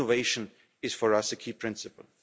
So innovation is, for us, a key principle.